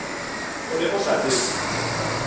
o ne o sa tsebe